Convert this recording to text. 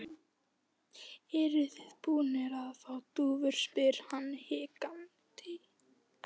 Eruð þið búnir að fá dúfur? spyr hann hikandi.